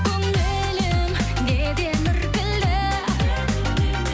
көңілім неден іркілді